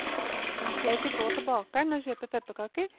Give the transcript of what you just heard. Jeg fikk gå til bakeren og kjøpe pepperkaker.